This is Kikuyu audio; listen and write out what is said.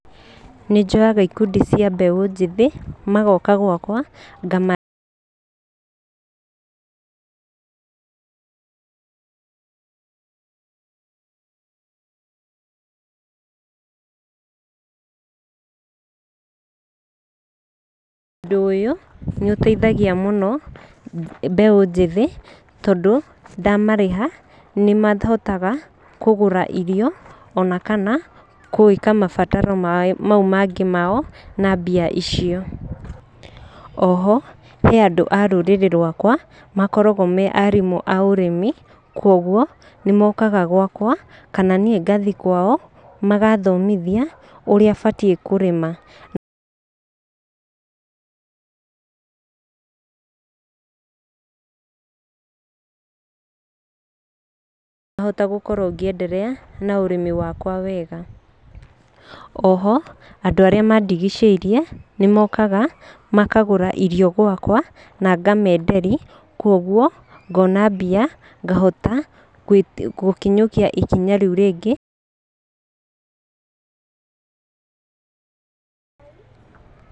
Nĩ njoyaga ikundi cia mbeũ njĩthĩ magoka gwakwa ngama... ũndũ ũyũ nĩ ũteithagia mũno mbeũ njĩthĩ tondũ ndamarĩha nĩ mahotaga kũgũra irio ona kana gwĩka mabataro mau mangĩ mao na mbia icio. Oho he andũ a rũrĩrĩ rwakwa makoragwo me arimũ a ũrĩmi. Koguo nĩ mokaga gwakwa kana niĩ ngathiĩ kwao magathomithia ũrĩa batiĩ kũrĩma ngahota gũkorwo ngĩenderea] na ũrĩmi wakwa wega. Oho andũ arĩa mandigicĩirie nĩ mokaga makagũra irio gwakwa na ngamenderia. Kwoguo ngona mbia ngahota gũkinyũkia ikinya rĩu rĩngĩ...